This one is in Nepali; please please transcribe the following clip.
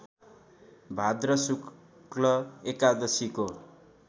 भाद्र शुक्ल एकादशीको